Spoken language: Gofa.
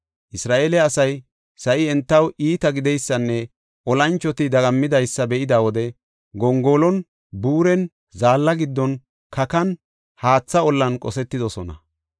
Isra7eele asay sa7i entaw iita gideysanne olanchoti dagammidaysa be7ida wode gongolon, buuren, zaalla giddon, kakan, haatha ollan qosetidosona.